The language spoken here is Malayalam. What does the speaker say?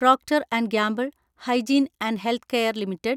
Procter & Gamble Hygiene and Health Care limited